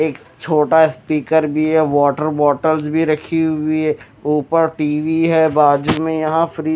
एक छोटा स्पीकर भी है वाटर बॉटल भी रखी हुई हैं ऊपर टी_वी हैं बाजू में यहां फ्रिज --